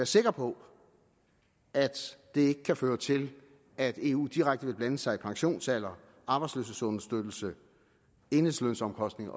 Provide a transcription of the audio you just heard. sikker på at det ikke kan føre til at eu direkte vil blande sig i pensionsalder arbejdsløshedsunderstøttelse enhedslønomkostninger